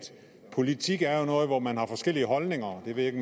politik jo er noget hvor man har forskellige holdninger jeg ved ikke